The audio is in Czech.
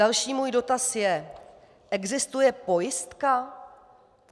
Další můj dotaz je: Existuje pojistka?